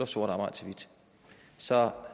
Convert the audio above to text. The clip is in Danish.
sort arbejde til hvidt så